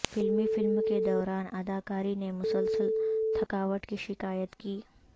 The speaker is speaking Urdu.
فلمی فلم کے دوران اداکاری نے مسلسل تھکاوٹ کی شکایت کی